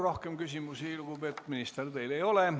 Rohkem küsimusi, lugupeetud minister, teile ei ole.